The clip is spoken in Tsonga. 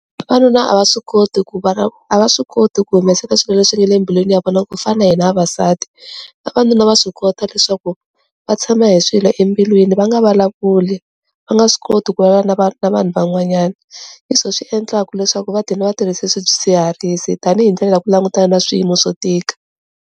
Vavanuna a va swi koti ku va a va swi koti ku humesaka swilo leswi nga le embilwini ya vona ku fana na hina vavasati vavanuna va swi kota leswaku va tshama hi swilo embilwini va nga vulavuli va nga swi koti ku vana va na vanhu van'wanyana leswo swi endlaka leswaku vatirhi va tirhisa swidzidziharisi tanihi ndlela ya ku langutana na swiyimo swo tika.